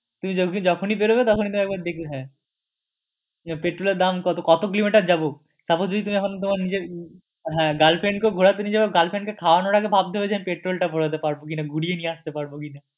যখনই বেরোবে তখনই তো একবার দেখবে হ্যাঁ পেট্রোল এর দাম কত কত কিলোমিটার যাবো suppose যদি তুমি তোমার girlfriend কে ঘোরাতে নিয়ে যাবে girlfriend কে খাওয়াবে খাওয়ানোর আগে ভাবতে হবে যে আমি পেট্রোল টা ভরাতে পারবো কিনা ঘুরিয়ে নিয়ে আসতে পারবো কিনা